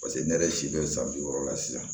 paseke ne yɛrɛ si bɛ san bi wɔɔrɔ la sisan